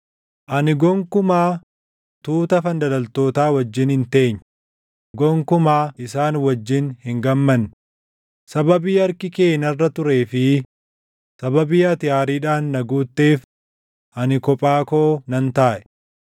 Ani gonkumaa tuuta fandalaltootaa wajjin hin teenye; gonkumaa isaan wajjin hin gammanne; sababii harki kee narra turee fi sababii ati aariidhaan na guutteef ani kophaa koo nan taaʼe.